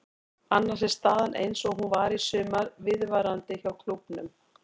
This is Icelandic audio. Annars er staðan eins og hún var í sumar viðvarandi hjá klúbbnum.